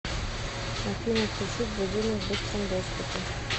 афина включить будильник в быстром доступе